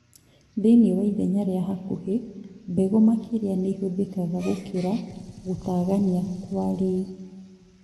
Thĩinĩ wa ithenya rĩa hakuhĩ, mbegũ makĩria nĩihũthĩkaga gũkĩra gũtagania- kwariĩ